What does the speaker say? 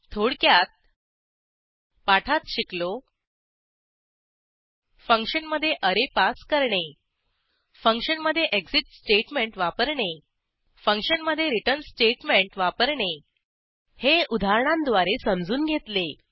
थोडक्यात पाठात शिकलो फंक्शनमधे अरे पास करणे फंक्शनमधे एक्सिट स्टेटमेंट वापरणे फंक्शनमधे रिटर्न स्टेटमेंट वापरणे हे उदाहरणांद्वारे समजून घेतले